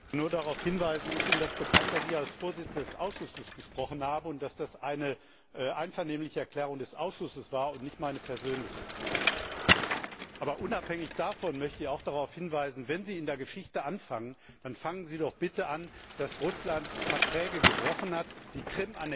Ist Ihnen bekannt, dass ich als Vorsitzender des Ausschusses gesprochen habe und dass das eine einvernehmliche Erklärung des Ausschusses war und nicht meine persönliche? Aber unabhängig davon möchte ich auch darauf hinweisen Wenn Sie in der Geschichte anfangen, dann fangen Sie doch bitte damit an, dass Russland Verträge gebrochen hat, die Krim annektiert hat.